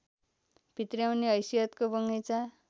भित्र्याउने हैसियतको बगैँचा